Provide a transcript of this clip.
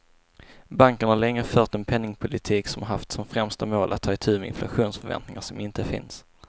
Banken har lika länge fört en penningpolitik som haft som främsta mål att ta itu med inflationsförväntningar som inte finns.